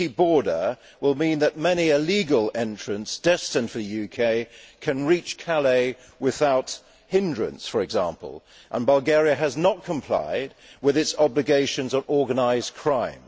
A leaky border will mean that many illegal entrants destined for the UK can reach Calais without hindrance, for example, and Bulgaria has not complied with its obligations on organised crime.